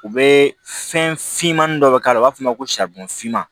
U bɛ fɛn finmanin dɔ k'a la u b'a fɔ o ma ko finman